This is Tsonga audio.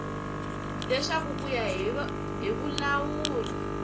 leswaku ku ya hi vulawuri